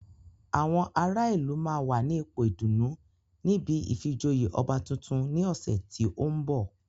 Àwọn ará ìlú máa wà ní ipò ìdùnnú níbi ìfijoyè ọba tuntun ní ọ̀sẹ̀ tí ó ń bọ̀